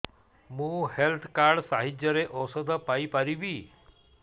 ମୁଁ health card ସାହାଯ୍ୟରେ ଔଷଧ ପାଇ ପାରିବି